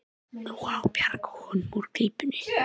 Nú á að bjarga honum úr klípunni.